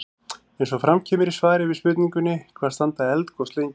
Eins og fram kemur í svari við spurningunni Hvað standa eldgos lengi?